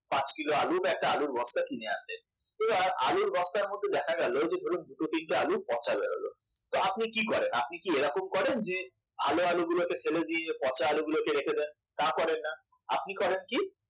পাঁচ কিলো আলু বা একটা আলুর বস্তা কিনে আনলেন এবার আলুর বস্তার মধ্যে দেখা গেল ধরুন যে দুটো তিনটে আলু পচা বেরোলো তো আপনি কি করেন ভালো আলু গুলোকে ফেলে দিয়ে পচা আলু গুলোকে রেখে দেন তা করেন না আপনি করেন কি